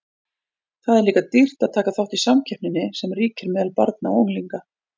Það er líka dýrt að taka þátt í samkeppninni sem ríkir meðal barna og unglinga.